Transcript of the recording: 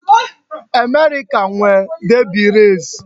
America nwe Derby race